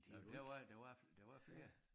Jamen der var der var der var flere